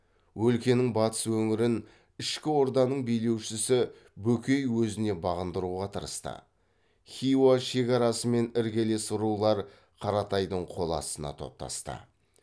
өлкенің батыс өңірін ішкі орданың билеушісі бөкей өзіне бағындыруға тырысты хиуа шекарасымен іргелес рулар қаратайдың қол астына топтасты